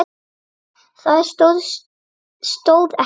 Það stóð ekki á því.